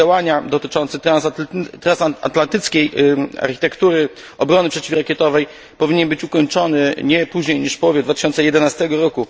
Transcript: Plan działania dotyczący transatlantyckiej architektury obrony przeciwrakietowej powinien być ukończony nie później niż w połowie 2011 r.